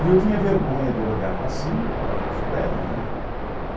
E eu tinha vergonha de olhar para cima para ver os prédios, né?